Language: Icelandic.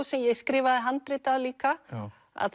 sem ég skrifaði handrit að líka að